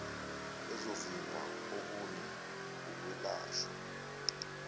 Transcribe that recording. ezovimba okunye ukwelashwa